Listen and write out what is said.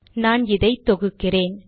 நான் இதை தொகுக்கிறேன்